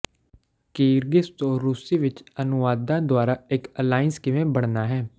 Kyrgyz ਤੋਂ ਰੂਸੀ ਵਿੱਚ ਅਨੁਵਾਦਾਂ ਦੁਆਰਾ ਇੱਕ ਅਲਾਇੰਸ ਕਿਵੇਂ ਬਣਨਾ ਹੈ